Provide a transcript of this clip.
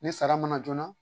Ni sara mana joona